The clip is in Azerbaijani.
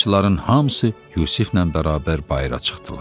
Qaraçıların hamısı Yusiflə bərabər bayıra çıxdılar.